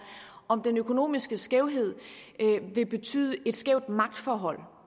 om den økonomiske skævhed vil betyde et skævt magtforhold